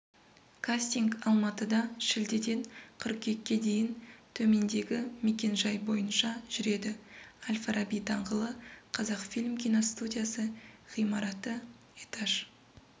кастинг алматыда шілдеден қыркүйекке дейін төмендегі мекен жай бойынша жүреді әл-фараби даңғылы қазақфильм киностудиясы ғимараты этаж